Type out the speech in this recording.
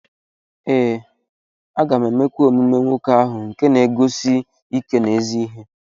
Ee, m ga-emekwa emume nwoke ahụ nke na-eguzosi ike n’ezi ihe.